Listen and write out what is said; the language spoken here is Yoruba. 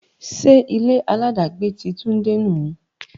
Ṣé ilé-aláàdágbé ti Tade nu?